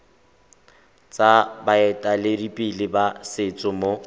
tsa baeteledipele ba setso mo